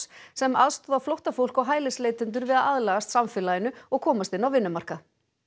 sem aðstoða flóttafólk og hælisleitendur við að aðlagast samfélaginu og komast inn á vinnumarkað